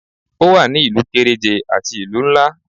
O wa ní ìlú kéréje àti ìlú nlá